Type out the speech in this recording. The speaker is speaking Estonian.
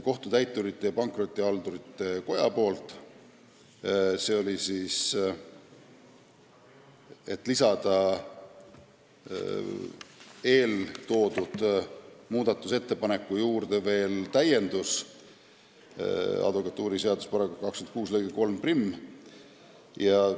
Kohtutäiturite ja Pankrotihaldurite Koda tegi ettepaneku lisada eeltoodud muudatusettepaneku juurde veel täiendus, mis puudutab advokatuuriseaduse § 26 lõiget 31.